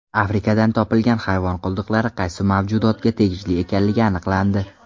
Afrikadan topilgan hayvon qoldiqlari qaysi mavjudotga tegishli ekanligi aniqlandi.